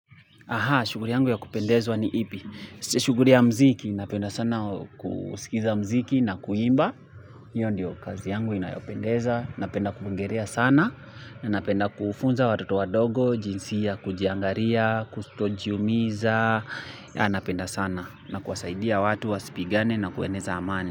Aha, shuguri yangu ya kupendezwa ni ipi. Shuguri ya mziki, napenda sana kusikiza mziki na kuimba. Hiyo ndiyo kazi yangu inayopendeza. Napenda kuogerea sana. Napenda kufunza watoto wa dogo, jinsi ya kujiangaria, kutojiumiza. Napenda sana na kuwasaidia watu wa sipigane na kueneza amani.